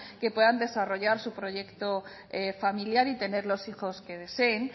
que puedan desarrollar su proyecto familiar y tener los hijos que deseen